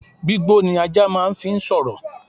Gbígbó ni ajá máà ń fi sọ̀rọ̀